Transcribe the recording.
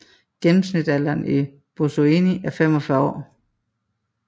Gennemsnitsalderen i Buzoeni er 45 år